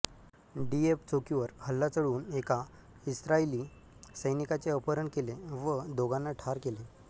D F चौकीवर हल्ला चढवून एका इस्रायली सैनिकाचे अपहरण केले व दोघांना ठार केले